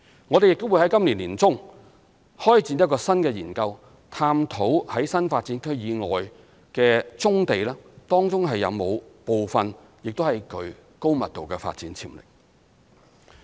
我們亦會在今年年中開展新的研究，探討在新發展區以外的棕地當中是否有部分亦具高密度的發展潛力。